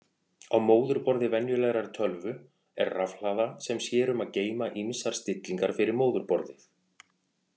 Á móðurborði venjulegrar tölvu er rafhlaða sem sér um að geyma ýmsar stillingar fyrir móðurborðið.